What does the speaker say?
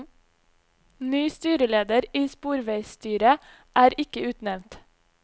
Ny styreleder i sporveisstyret er ikke utnevnt.